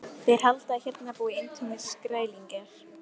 Þeir halda að hérna búi eintómir skrælingjar.